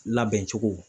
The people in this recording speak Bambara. Labɛn cogo